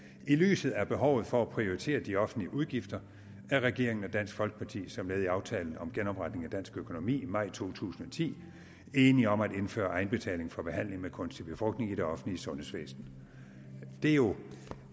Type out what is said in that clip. lyset af behovet for at prioritere de offentlige udgifter er regeringen og dansk folkeparti som led i aftalen om genopretning af dansk økonomi maj to tusind og ti enige om at indføre egenbetaling for behandling med kunstig befrugtning i det offentlige sundhedsvæsen det er jo